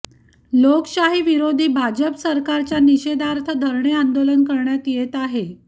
लोकशाही विरोधी भाजप सरकारच्या निषेधार्थ धरणे आंदोलन करण्यात येत आहे